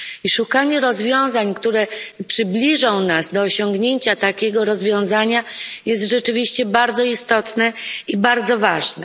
I szukanie rozwiązań, które przybliżą nas do osiągnięcia takiego stanu jest rzeczywiście bardzo istotne i bardzo ważne.